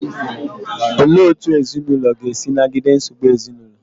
Olee otú ezinụlọ ga-esi nagide nsogbu ezinụlọ?